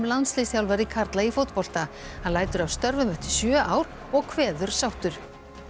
landsliðsþjálfari karla í fótbolta hann lætur af störfum eftir sjö ár og kveður sáttur